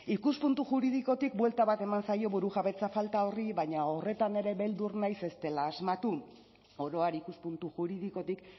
ikuspuntu juridikotik buelta bat eman zaio burujabetza falta horri baina horretan ere beldur naiz ez dela asmatu oro har ikuspuntu juridikotik